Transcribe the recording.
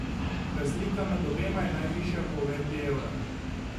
Razlika med obema je najvišja po uvedbi evra.